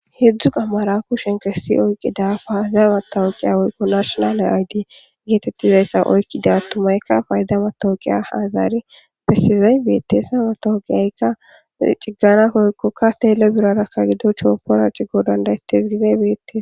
Hedzdzu qammara kushen kessi oykkida fayzawata oykqiya oykko nashonale ayddi geetettizayssa oykkida tumaykka paydawatooqiya hazari pesizay beette sa mataoqiyaykka ciggana koykkokka teele birarakka gido choopora cigo dandaytes gizey bettiee.